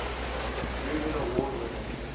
reuben award winners